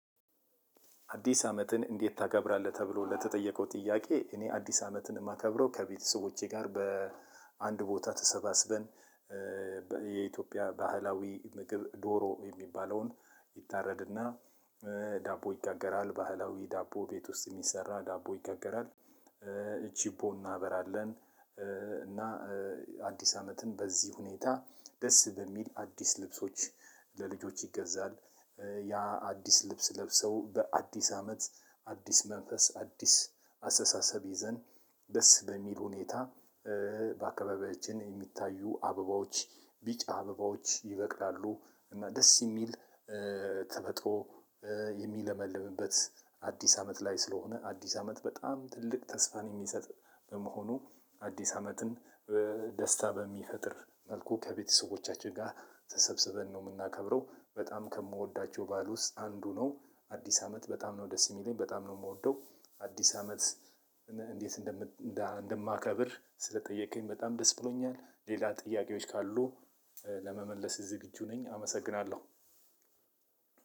አዲስ አመትን እንዴት ታከብራለህ? ተብሎ ለተጠየቀው ጥያቄ እኔ አዲስ አመትን እማከብረው ከቤተሰቦቼ ጋር በአንድ ቦታ ተሰባስበን። የኢትዮጵያ ባህላዊ ምግብ ዶሮ የሚባለውን ይታረድና ዳቦ ይጋገራል ባህላዊ ዳቦ ቤት ውስጥ የሚሰራ ዳቦ ይጋገራል እ ችቦ እናበራለን። እና አዲስ አመትን በዚህ ሁኔታ ደስ በሚል አዲስ ልብሶች ለልጆች ይገዛል። ያ አዲስ ልብስ ለብሰው በአዲስ አመት አዲስ መንፈስ አዲስ አስተሳሰብ ይዘን ደስ በሚል ሁኔታ። በአካባቢያችን የሚታዩ አበባዎች ቢጫ አበባዎች ይበቅላሉ እና ደስ የሚል ተፈጥሮ የሚለመልምበት አዲስ አመት ላይ ስለሆነ አዲስ አመት በጣም ትልቅ ተስፋን የሚሰጥ በመሆኑ። አዲስ አመትን ደስታ በሚፈጥር መልኩ ከቤተሰቦቻችን ጋር ተሰብስበን ምናከብረው በጣም ከምወዳቸው ባህል ውስጥ አንዱ ነው። አዲስ አመት በጣም ነው ደስ የሚለኝ በጣም ነው ምወደው አዲስ አመት። እንዴት እንደማከብር ስለጠየከኝ በጣም ደስ ብሎኛል ሌላ ጥያቄዎች ካሉ። ለመመለስ ዝግጁ ነኝ አመሰግናለሁ።